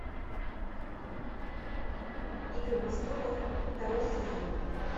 игры престолов второй сезон